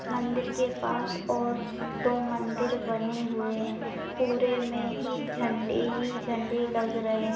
मंदिर के पास और दो मंदिर बने हुए हैं पूरे में ही झंडे ही झंडे लगा रहे --